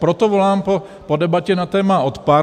Proto volám po debatě na téma odpar.